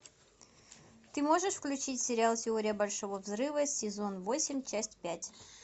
ты можешь включить сериал теория большого взрыва сезон восемь часть пять